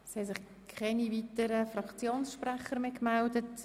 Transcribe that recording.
Es haben sich keine weiteren Fraktionssprechende mehr gemeldet.